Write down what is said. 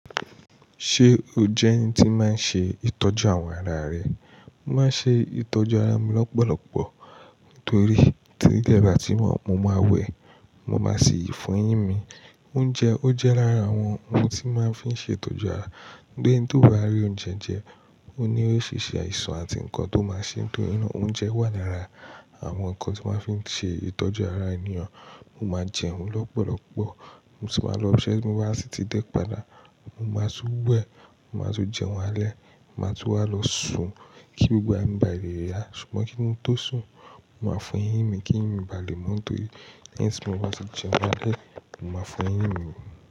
Ṣé o jẹ́ ẹni tí máa ń ṣe ìtọ́jú àwọn ara rẹ? Mo máa ń ṣe ìtọ́jú ara mi lọ́pọ̀lọpọ̀ nítorí tí ilẹ́ bà tímo mo máa wẹ̀, mo máa sì fo eyín mi. Oúnjẹ ó jẹ́ lára àwọn ohun tí máa ń fi ṣe ìtọ́jú ara. Gbé ẹni tó bá rí oúnjẹ ń jẹ, ó ní ó ṣi ṣe aìṣàn àti nǹkan tó máa ṣe nítorínà. Oúnjẹ wà lára àwọn nǹkan tí wá ń fi ṣe ìtọ́jú ara ènì o. Mo máa jẹun lọ́pọ̀lọpọ̀. Mo sì wá lọ ibi se ti mo wa sí ti dẹ́ padà. Mo máa tún wẹ̀. Mo máa tún jẹun alẹ́. Máa tún wá lọ sùn kí gbogbo ara mi bà léè ya. Ṣùgbọ́n kí n tó sùn, mo máa fo eyín mi kì n mi bà léèmu nítorí lẹ́yìn tí mo bá ti jẹun alẹ́, mo máa fo eyín mi.